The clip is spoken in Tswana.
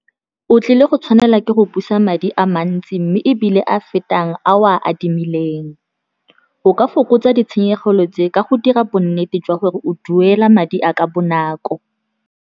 O tlile go tshwanela ke go busa madi a mantsi, mme ebile a fetang a o a adimileng. O ka fokotsa ditshenyegelo tse ka go dira bonnete jwa gore o duela madi a ka bonako.